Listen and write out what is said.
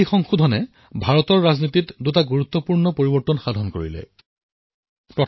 এই পৰিৱৰ্তনে ভাৰতৰ ৰাজনীতিত দুটা গুৰুত্বপূৰ্ণ পৰিৱৰ্তন কঢ়িয়াই আনিলে